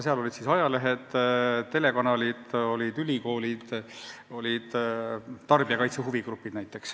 Seal olid esindatud näiteks ajalehed, telekanalid, ülikoolid ja tarbijakaitse huvigrupid.